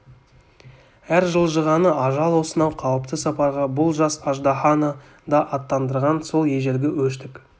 әр жылжығаны ажал осынау қауіпті сапарға бұл жас аждаһаны да аттандырған сол ежелгі өштік